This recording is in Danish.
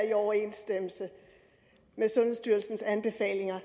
i overensstemmelse med sundhedsstyrelsens anbefalinger